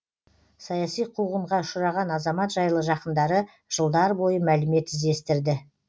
саяси қуғынға ұшыраған азамат жайлы жақындары жылдар бойы мәлімет іздестірді